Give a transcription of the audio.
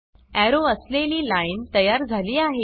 arrow असलेली line तयार झा ली आहे